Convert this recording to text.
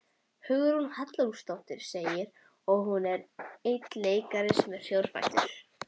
Hugrún Halldórsdóttir: Og svo er einn leikari sem er fjórfættur?